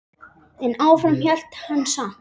En áfram hélt hann samt.